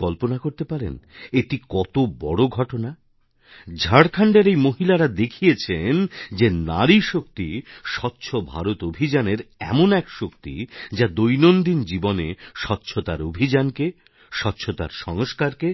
আপনি কল্পনা করতে পারেন এটি কত বড় ঘটনা ঝাড়খন্ডের এই মহিলারা দেখিয়েছেন যে নারীশক্তি স্বচ্ছ ভারত অভিযানের এমন এক শক্তি যা দৈনন্দিন জীবনে স্বচ্ছতার অভিযানকে স্বচ্ছতার সংস্কারকে